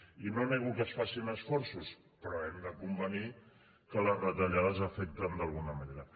i no nego que es facin esforços però hem de convenir que les retallades afecten d’alguna manera